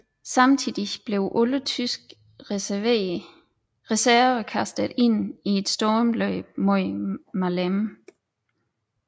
Samtidig blev alle tyske reserver kastet ind i et stormløb mod Maleme